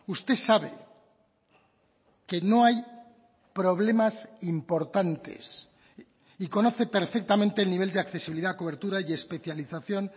usted sabe que no hay problemas importantes y conoce perfectamente el nivel de accesibilidad cobertura y especialización